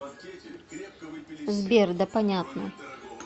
сбер да понятно